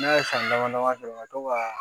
Ne ye san dama dama sɔrɔ ka to ka